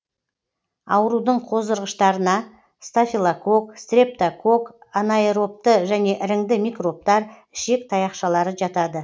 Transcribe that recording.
аурудың қоздырғыштарына стафилококк стрептококк анаэробты және іріңді микробтар ішек таяқшалары жатады